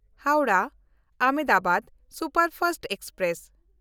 ᱦᱟᱣᱲᱟᱦ–ᱟᱦᱚᱢᱫᱟᱵᱟᱫ superfast express